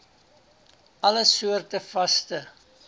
alle soorte vaste